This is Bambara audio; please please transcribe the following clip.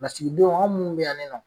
Lasigidenw an mun bɛ yan ni nɔ